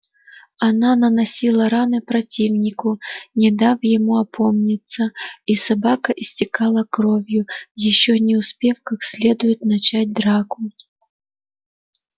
она наносила раны противнику не дав ему опомниться и собака истекала кровью ещё не успев как следует начать драку